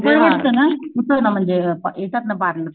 परवडत ना होतंय ना म्हणजे येतात ना पार्लर